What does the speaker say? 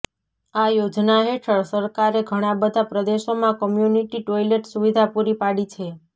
આ યોજના હેઠળ સરકારે ઘણા બધા પ્રદેશોમાં કોમ્યુનિટી ટોયલેટ સુવિધા પૂરી પાડી છે